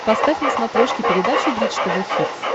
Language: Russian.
поставь на смотрешке передачу бридж тв хитс